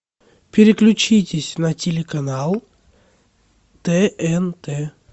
переключитесь на телеканал тнт